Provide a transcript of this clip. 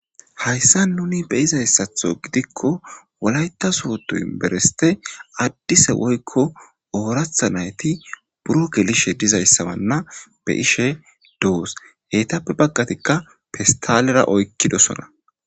hayssa nuni be izayssatho gidikko wolayta suwoto inbereste addise woykko ooratha nayti buro gelishe dizayssabanna be ishe doos heytappe baggatikka pistalera oykkidosona